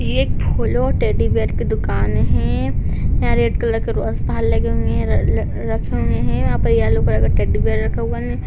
ये एक फूलों और टेडी बिअर की दुकान हैं। यहाँ रेड कलर के रोस बाहर लगे हुए है रखे हुए है यहाँ पर येलो कलर का टेडी बिअर रखा हुआ है।